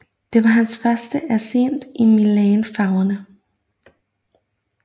Det var hans første assist i Milan farverne